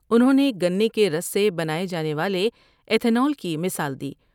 انہوں نے گنے کے رس سے بناۓ جانے والے عیتھونل کی مثال دی ۔